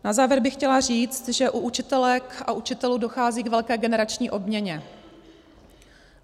Na závěr bych chtěla říci, že u učitelek a učitelů dochází k velké generační obměně.